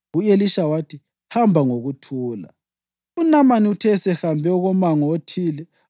U-Elisha wathi, “Hamba ngokuthula.” UNamani uthe esehambe okomango othile,